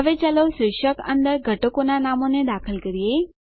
હવે ચાલો શીર્ષક અંદર ઘટકોનાં નામોને દાખલ કરીએ